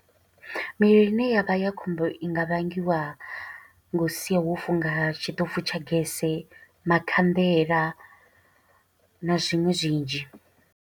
Mivhili ine ya vha ya khombo, i nga vhangiwa nga u sia wo funga tshiṱofu tsha gese, makhanḓela, na zwiṅwe zwinzhi.